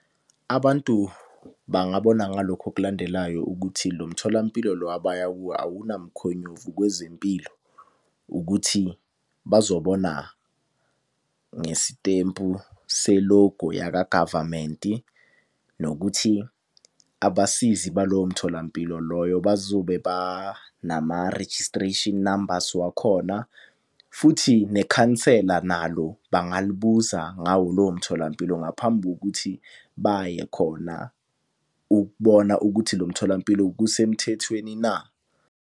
Abantu bangabona ngalokhu okulandelayo ukuthi lo mtholampilo lo abaya kuwo awunamukhonyovu kwezempilo ukuthi bazobona ngesitempu selogo yakagavamenti. Nokuthi abasizi balowo mtholampilo loyo bazobe ba nama-registration numbers wakhona. Futhi nekhansela nalo bangalibuza ngawo lowo mtholampilo ngaphambi kokuthi baye khona ukubona ukuthi lo mtholampilo kusemthethweni na.